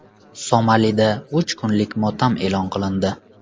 Somalida uch kunlik motam e’lon qilindi.